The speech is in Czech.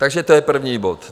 Takže to je první bod.